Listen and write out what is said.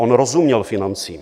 On rozuměl financím.